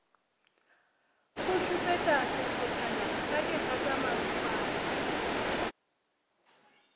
go šupetša sehlophana sa digatamarokgwana